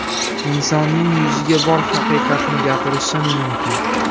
Insonning yuziga bor haqiqatni gapirishim mumkin.